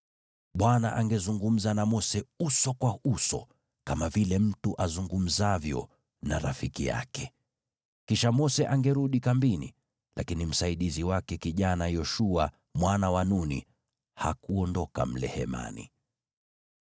Bwana angezungumza na Mose uso kwa uso, kama vile mtu azungumzavyo na rafiki yake. Kisha Mose angerudi kambini, lakini msaidizi wake kijana Yoshua mwana wa Nuni hakuondoka mle Hemani.